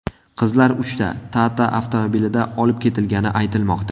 Qizlar uchta Tata avtomobilida olib ketilgani aytilmoqda.